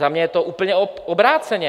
Za mě je to úplně obráceně.